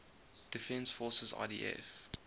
defense forces idf